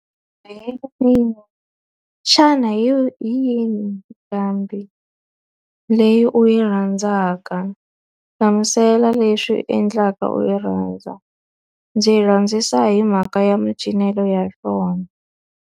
xana hi hi yini nqambi leyi u yi rhandzaka? Hlamusela leswi endlaka u yi rhandza. Ndzi yi rhandzisa hi mhaka ya macinelo ya yona.